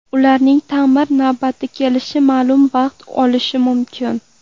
Ularning ta’mir navbati kelishi ma’lum vaqt olishi mumkin.